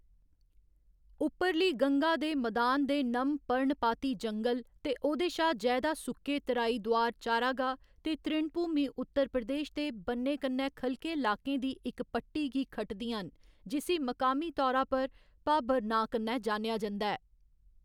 उप्परली गंगा दे मदान दे नम पर्णपाती जंगल ते ओह्‌‌‌दे शा जैदा सुक्के तराई दुआर चारागाह् ते तृणभूमि उत्तर प्रदेश दे बन्ने कन्नै ख'लके लाकें दी इक पट्टी गी खटदियां न, जिसी मकामी तौरा पर भाबर नांऽ कन्नै जानेआ जंदा ऐ।